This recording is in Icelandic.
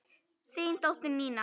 Þín dóttir, Nína.